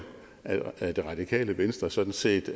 at det radikale venstre sådan set